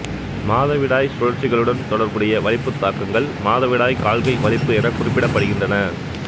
மாதவிடாய் சுழற்சிகளுடன் தொடர்புடைய வலிப்புத்தாக்கங்கள் மாதவிடாய் கால்கை வலிப்பு எனக் குறிப்பிடப்படுகின்றன